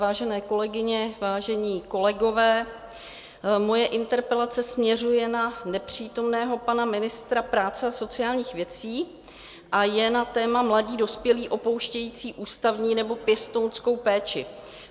Vážené kolegyně, vážení kolegové, moje interpelace směřuje na nepřítomného pana ministra práce a sociálních věcí a je na téma mladí dospělí opouštějící ústavní nebo pěstounskou péči.